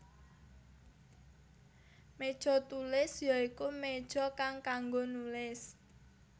Méja Tulis ya iku méja kang kanggo nulis